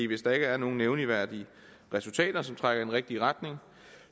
hvis der ikke er nogen nævneværdige resultater som trækker i den rigtige retning